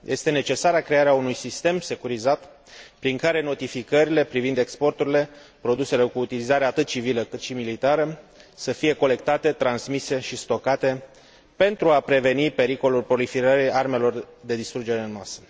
Este necesară crearea unui sistem securizat prin care notificările privind exporturile produselor cu utilizare atât civilă, cât și militară să fie colectate, transmise și stocate pentru a preveni pericolul proliferării armelor de distrugere în masă.